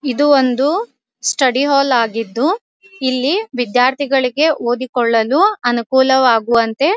ಇದು ಒಂದು study hall ಆಗಿದ್ದು ಇಲ್ಲಿ ವಿದ್ಯಾರ್ಥಿಗಳಿಗೆ ಓದಿಕೊಳ್ಳಲು ಅನುಕೂಲವಾಗುವಂತೆ --